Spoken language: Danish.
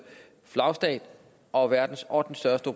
flagstat og verdens ottende største